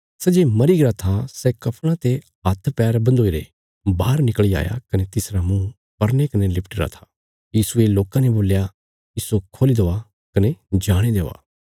सै जे मरीगरा था सै कफणा ते हाथ पैर बन्धोई रेई बाहर निकल़ी आया कने तिसरा मुँह पर्ने कने लिपटीरा था यीशुये लोकां ने बोल्या इस्सो खोली देआ कने जाणे देआ